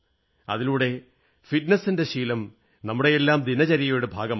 അതിലൂടെ ഫിറ്റ്നസ് ന്റെ ശീലം നമ്മുടെയെല്ലാം ദിനചര്യയുടെ ഭാഗമാകും